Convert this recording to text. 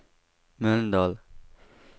Mölndal